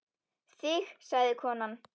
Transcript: Þig sagði konan.